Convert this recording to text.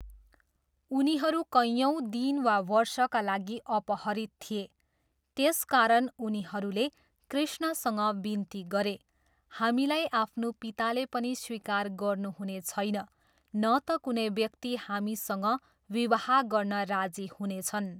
उनीहरू कैयौँ दिन वा वर्षका लागि अपहरित थिए, त्यसकारण उनीहरूले कृ्ष्णसँग विन्ती गरे, हामीलाई आफ्नो पिताले पनि स्वीकार गर्नुहुने छैन न त कुनै व्यक्ति हामीसँग विवाह गर्न राजी हुनेछन्।